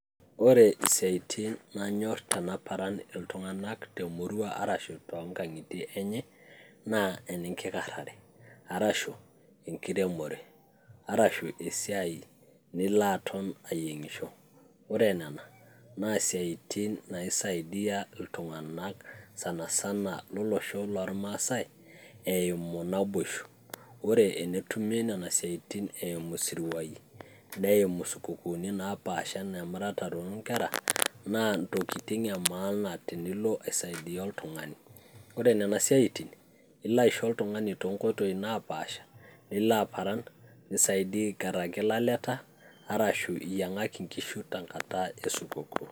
ore isiaitin nanyorr tenaparan iltung'anak temurua arashu tonkang'itie enye naa enkikarrare arashu enkiremore, arashu esiai nilo aton ayieng'isho ore nena naa siaitin naisaidia iltung'anak sanasana lolosho lormasae eimu naboisho ore enetumi nena siaitin eimu isiruai neimu isikukuni napaasha anaa emuratare onkera naa intokiting e maana tenilo aisaidia oltung'ani ore nena siaitin ilo aisho oltung'ani tonkoitoi napaasha nilo aparan nisaidia aikarraki ilaleta arshu iyiang'aki inkishu tenkata esukukuu.